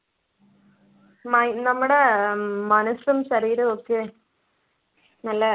my~ നമ്മുടെ അഹ് മനസ്സും ശരീരമൊക്കെ നല്ല